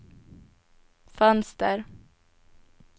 fönster